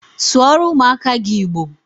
Sụọrọ ụmụaka gị Igbo!